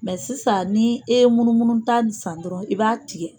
sisan ni e ye munumunu ta nin san dɔrɔn i b'a tigɛ.